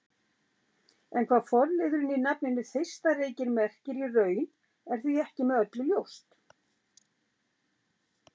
En hvað forliðurinn í nafninu Þeistareykir merkir í raun er því ekki með öllu ljóst.